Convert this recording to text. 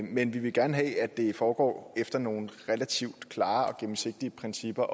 men vi vil gerne have at det foregår efter nogle relativt klare og gennemsigtige principper